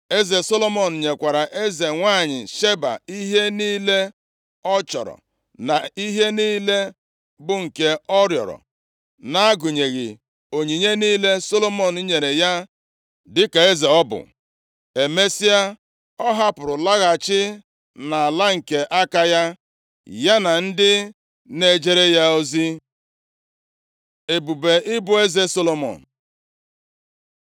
Eze Solomọn nyekwara eze nwanyị Sheba ihe niile ọ chọrọ na ihe niile bụ nke ọ rịọrọ, na-agụnyeghị onyinye niile Solomọn nyere ya dịka eze ọ bụ. Emesịa, ọ hapụrụ laghachi nʼala nke aka ya, ya na ndị na-ejere ya ozi. Ebube ịbụ eze Solomọn